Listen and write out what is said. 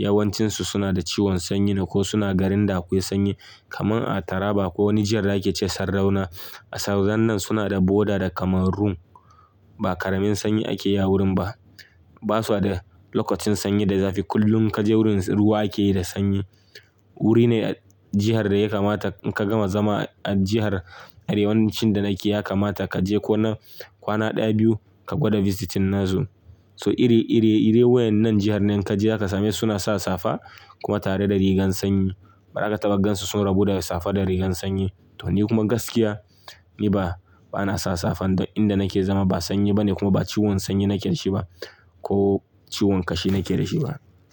Yawancinsu suna da ciwon sanyi ne ko suna garin da akwai sanyi. Kaman a Taraba ko wani jihar da ake ce Sardauna. A Sardaunan suna da boda da Cameroon. Ba ƙaramin sanyi ake yi a wurin ba. Ba su da lokacin sanyi da zafi kullum kaje wurin ruwa ake yi da sanyi. Wuri ne a jihar da ya kamata ka gama zama a jihar arewancin da nake ya kamata kaje ko na kwana ɗaya biyu ka gwada visiting nazo. So iri, iri, ire wayan nan jihar nan kaje zakasame suna sa safa kuma tare da rigan sanyi. Maraka tagaggansu sun rabu da safa da rigan sanyi. To ni kuma gaskiya ni ba, ba na sa safa inda nake zama ba sanyi bane kuma ba ciwon sanyi nake da shi ba ko ciwon kashi nake da shi ba.